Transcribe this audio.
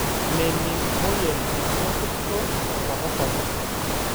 Mening' moyiaritin orkurt tenkata sapuk.